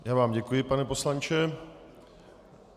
Já vám děkuji, pane poslanče.